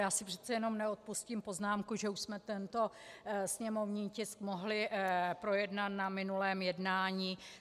Já si přece jenom neodpustím poznámku, že už jsme tento sněmovní tisk mohli projednat na minulém jednání.